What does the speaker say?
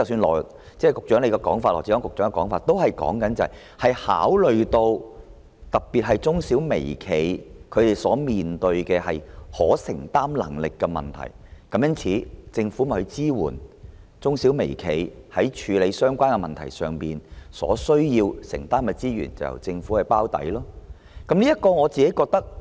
羅致光局長剛才說，考慮到特別是中小微企的承擔能力，政府會對中小微企在處理相關問題上所需承擔的資源提供支援，並由政府"包底"。